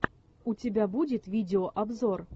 у тебя будет видеообзор